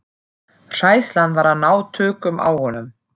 Hræðslan var að ná tökum á honum.